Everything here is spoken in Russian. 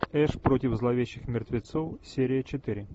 эш против зловещих мертвецов серия четыре